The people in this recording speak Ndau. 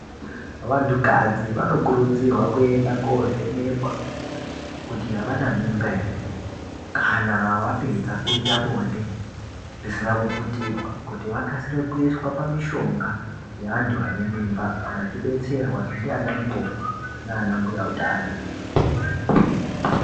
Vantukadzi vanokurudzirwa kuenda kovhenekwa kuti havana mimba here. Kana vapedza kuita bonde risina kuputirwa kuti vakasire kuyiswa pamishonga yevantu vanemimba vachidetserwa ndi ana mukoti nanambuya hutano.